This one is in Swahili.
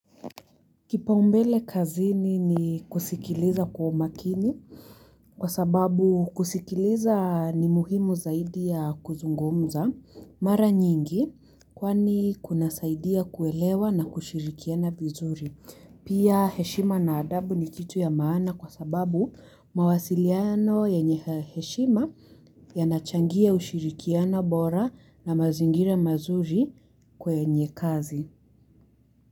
Kipaumbele kazini ni kusikiliza kwa umakini kwa sababu kusikiliza ni muhimu zaidi ya kuzungumza. Mara nyingi kwani kuna saidia kuelewa na kushirikiana vizuri. Pia heshima na adabu ni kitu ya maana kwa sababu mawasiliano ya nyenye heshima yanachangia ushirikiana bora na mazingira mazuri kwenye kazi.